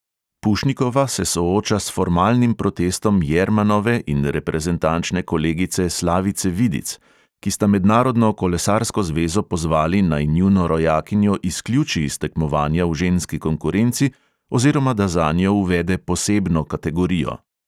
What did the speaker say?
Pušnikova se sooča s formalnim protestom jermanove in reprezentančne kolegice slavice vidic, ki sta mednarodno kolesarsko zvezo pozvali, naj njuno rojakinjo izključi iz tekmovanja v ženski konkurenci, oziroma da zanjo uvede posebno kategorijo.